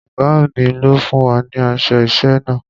Ọ̀gá mi ló fún wa ní aṣọ iṣẹ́ náà.